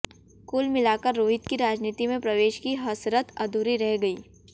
कुल मिलाकर रोहित की राजनीति में प्रवेश की हसरत अधूरी रह गयी